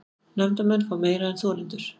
Nefndarmenn fá meira en þolendur